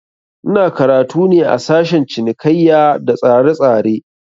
Ina karatu ne a sashen cinikaiya da tsaretsare